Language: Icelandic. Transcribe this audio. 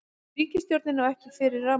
Ríkisstjórnin á ekki fyrir rafmagni